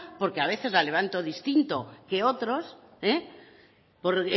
porque a veces la levanto distinto que otros por